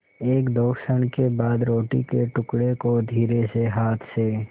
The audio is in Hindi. एकदो क्षण बाद रोटी के टुकड़े को धीरेसे हाथ से